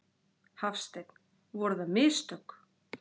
Hafsteinn: Voru það mistök?